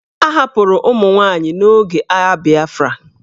A hapụrụ ụmụ nwaanyị n'oge agha Biafra.